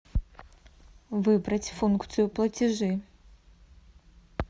выбрать функцию платежи